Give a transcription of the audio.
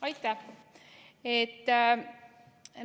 Aitäh!